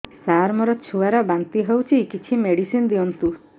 ସାର ମୋର ଛୁଆ ର ବାନ୍ତି ହଉଚି କିଛି ମେଡିସିନ ଦିଅନ୍ତୁ